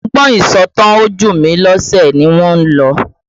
Ọgbọ́n ìsọ̀tàn ojumilose ni wọ́n lò